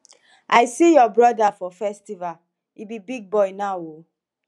i see your brother for festival he be big boy now o